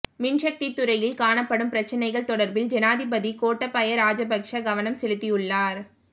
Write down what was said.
மின் சக்தி துறையில் காணப்படும் பிரச்சினைகள் தொடர்பில் ஜனாதிபதி கோட்டாபய ராஜபக்ஷ கவனம் செலுத்தியுள்ளார்